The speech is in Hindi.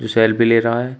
जो सेल्फी ले रहा है।